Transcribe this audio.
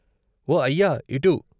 " ఓ అయ్య ఇటు.